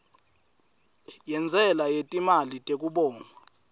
yentsela yetimali tekubongwa